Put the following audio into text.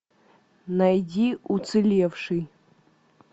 найди уцелевший